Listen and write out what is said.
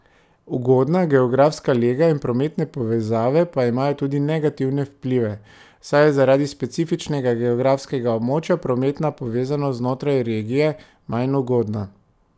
Ugodna geografska lega in prometne povezave pa imajo tudi negativne vplive, saj je zaradi specifičnega geografskega območja prometna povezanost znotraj regije manj ugodna.